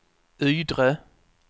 Ydre